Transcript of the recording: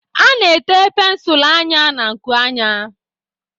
A na-ete pensụl anya na-nkụ anya.